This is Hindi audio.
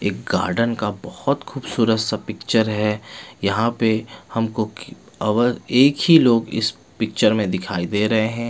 एक गार्डन का बोहोत खूबसूरत सा पिक्चर है यहाँ पे हम को की और एक ही लोग इस पिक्चर में दिखाई दे रहे है।